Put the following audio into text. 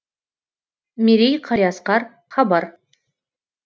мерей қалиасқар хабар